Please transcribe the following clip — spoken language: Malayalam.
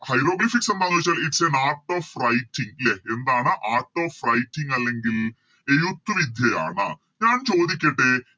Hieroglyphics എന്താന്ന് വെച്ചാല് Its an art of writing ലെ എന്താണ് Art of writing അല്ലെങ്കിൽ എഴുത്ത് വിദ്യയാണ് ഞാൻ ചോദിക്കട്ടെ